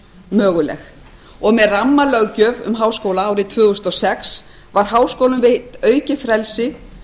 möguleg og með rammalöggjöf um háskóla árið tvö þúsund og sex var háskólum veitt aukið frelsi